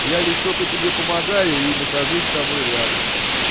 я лишь только тебе помогаю и нахожусь с тобой рядом